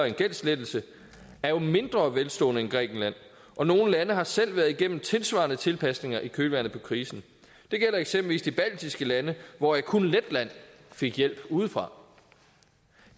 en gældslettelse er jo mindre velstående end grækenland og nogle lande har selv været igennem tilsvarende tilpasninger i kølvandet på krisen det gælder eksempelvis de baltiske lande hvoraf kun letland fik hjælp udefra